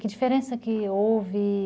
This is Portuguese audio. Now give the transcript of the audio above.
Que diferença que houve?